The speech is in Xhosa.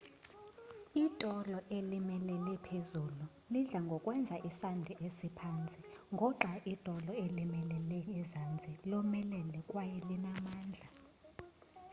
itolo elimilele-phezulu lidla ngokwenza isandi esiphantsi ngoxai itolo elimilele ezantsi lomelele kwaye linamandla